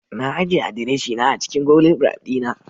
Na ajiye adireshina a cikin Google Drive dina